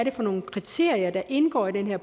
er for nogle kriterier der indgår i den her